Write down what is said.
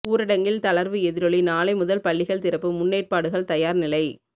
ஊரடங்கில் தளர்வு எதிரொலி நாளை முதல் பள்ளிகள் திறப்பு முன்னேற்பாடுகள் தயார் நிலை